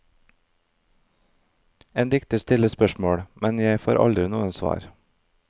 En dikter stiller spørsmål, men jeg får aldri noe svar.